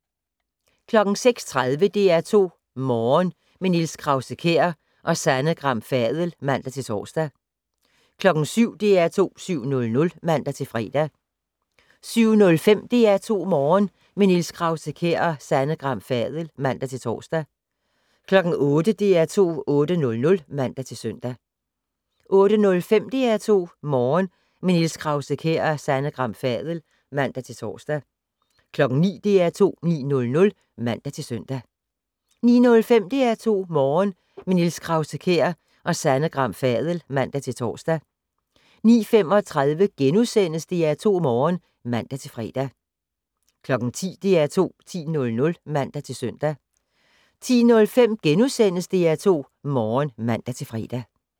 06:30: DR2 Morgen - med Niels Krause-Kjær og Sanne Gram Fadel (man-tor) 07:00: DR2 7:00 (man-fre) 07:05: DR2 Morgen - med Niels Krause-Kjær og Sanne Gram Fadel (man-tor) 08:00: DR2 8:00 (man-søn) 08:05: DR2 Morgen - med Niels Krause-Kjær og Sanne Gram Fadel (man-tor) 09:00: DR2 9:00 (man-søn) 09:05: DR2 Morgen - med Niels Krause-Kjær og Sanne Gram Fadel (man-tor) 09:35: DR2 Morgen *(man-fre) 10:00: DR2 10:00 (man-søn) 10:05: DR2 Morgen *(man-fre)